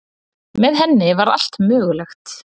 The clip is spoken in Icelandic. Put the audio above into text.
Með henni var allt mögulegt.